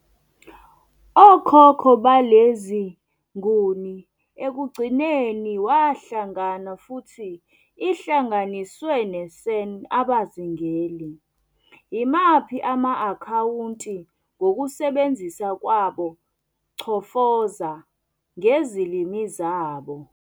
Okhokho balezi Nguni ekugcineni wahlangana futhi ihlanganiswe ne -San abazingeli, yimaphi ama-akhawunti ngokusebenzisa kwabo 'chofoza "ngezilimi zabo.